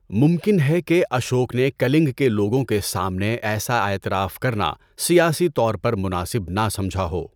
ممکن ہے کہ اشوک نے کَلنگ کے لوگوں کے سامنے ایسا اعتراف کرنا سیاسی طور پر مناسب نہ سمجھا ہو۔